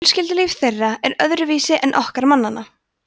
fjölskyldulíf þeirra er öðruvísi en okkar mannanna